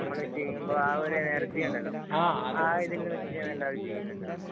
നമ്മള് ചെയ്യുമ്പോള്‍ ആ ഒരു എനര്‍ജി ഉണ്ടല്ലോ ആ ഒരു ഇത് വച്ച് എല്ലാവരും ചെയ്യുന്നുണ്ടോ?